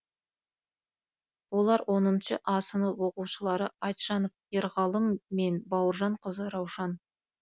олар оныншы а сынып оқушылары айтжанов ерғалым мен бауыржанқызы раушан